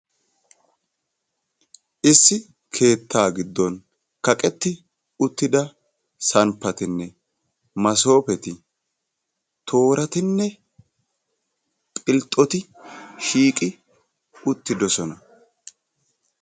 Issi keettaa giddon kaqetti uttida samppatinne massooppeti toorattinne philxxoti shiiqqi uttiddossona.